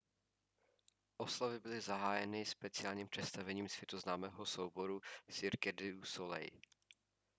oslavy byly zahájeny speciálním představením světoznámého souboru cirque du soleil